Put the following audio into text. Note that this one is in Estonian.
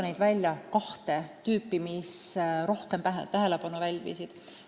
Võiks öelda, et rohkem tähelepanu pälvisid kahte tüüpi rikkumised.